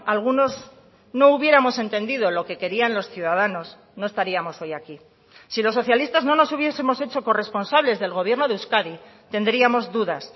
algunos no hubiéramos entendido lo que querían los ciudadanos no estaríamos hoy aquí si los socialistas no nos hubiesemos hecho corresponsables del gobierno de euskadi tendríamos dudas